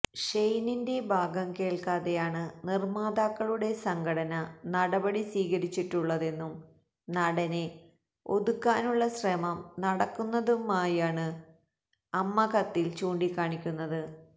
ഷെയിനിന്റെ ഭാഗം കേൾക്കാതെയാണ് നിർമാതാക്കളുടെ സംഘടന നടപടി സ്വീകരിച്ചിട്ടുള്ളതെന്നും നടനെ ഒതുക്കാനുള്ള ശ്രമം നടക്കുന്നതായുമാണ് അമ്മ കത്തിൽ ചൂണ്ടിക്കാണിക്കുന്നത്